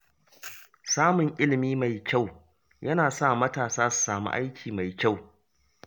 Samun ilimi mai kyau yana sa matasa su samu aiki mai kyau